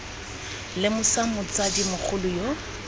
v lemosa motsadi mogolo yo